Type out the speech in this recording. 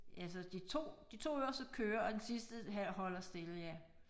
Ja altså de 2 de 2 øverste kører og den sidste her holder stille ja